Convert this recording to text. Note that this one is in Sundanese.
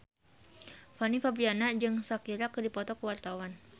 Fanny Fabriana jeung Shakira keur dipoto ku wartawan